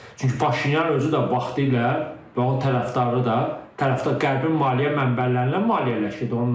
Çünki Paşinyan özü də vaxtilə onun tərəfdarı da Qərbin maliyyə mənbələrindən maliyyələşirdi.